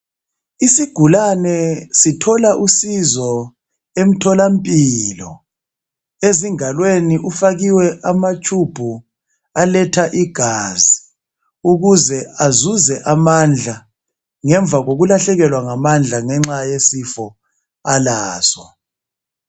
Isigulane sithola usizo emtholampilo. Ezingalweni ufakiwe ama tshubhu aletha igazi, ukuze azuze amandla ngemva kokulahlekelwa ngamandla ngenxa yesifo alaso.